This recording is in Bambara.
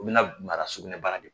O bina na mara sugunɛ bara de